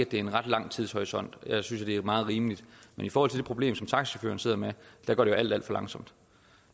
det er en ret lang tidshorisont jeg synes det er meget rimeligt men i forhold til det problem som taxachaufførerne sidder med går det alt alt for langsomt